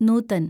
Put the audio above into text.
Nutan